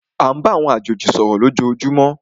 À ń bá àwọn àjèjì sọ̀rọ̀ lójoojúmó.